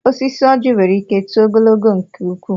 Osisi ọjị nwere ike too ogologo nke ukwu.